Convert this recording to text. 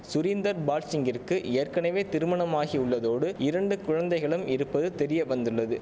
சுரீந்தர் பால்சிங்கிற்கு ஏற்கனவே திருமணமாகியுள்ளதோடு இரண்டு குழந்தைகளும் இருப்பது தெரியவந்ததுள்ளது